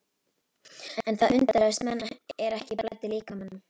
En það undruðust menn er ekki blæddi líkamanum.